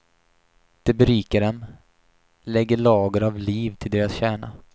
Det berikar dem, lägger lager av liv till deras kärna.